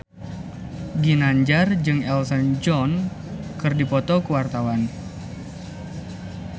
Ginanjar jeung Elton John keur dipoto ku wartawan